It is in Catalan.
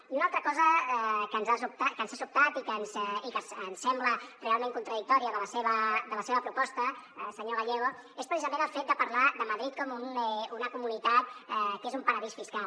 i una altra cosa que ens ha sobtat i que ens sembla realment contradictòria de la seva proposta senyor gallego és precisament el fet de parlar de madrid com una comunitat que és un paradís fiscal